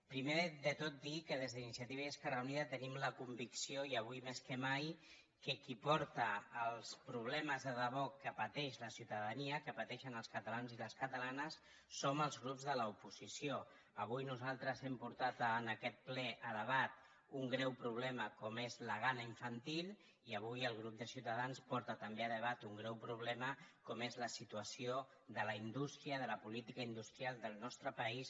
primer de tot dir que des d’iniciativa i esquerra unida tenim la convicció i avui més que mai que qui porta els problemes de debò que pateix la ciutadania que pateixen els catalans i les catalanes som els grups de l’oposició avui nosaltres hem portat a aquest ple a debat un greu problema com és la gana infantil i avui el grup de ciutadans porta també a debat un greu problema com és la situació de la indústria de la política industrial del nostre país